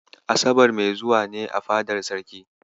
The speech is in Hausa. Asabar mai zuwa ne a fadar Sarki.